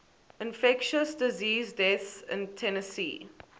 infectious disease deaths in tennessee